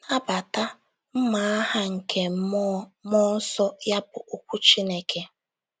“Nabata... mma agha nke mmụọ mmụọ nsọ, ya bụ, okwu Chineke.